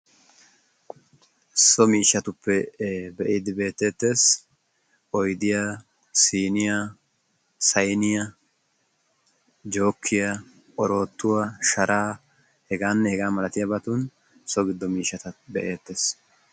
so miishatupp be'idde beettete siiniyaa, sayniyaa, oorottuwaa, sharaa, heganne hega malatiyaabatun so giddon miishshata be'eettees.